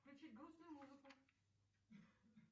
включи грустную музыку